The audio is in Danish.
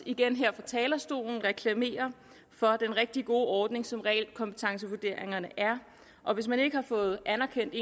igen her fra talerstolen reklamere for den rigtig gode ordning som realkompetencevurderingerne er og hvis man ikke har fået anerkendt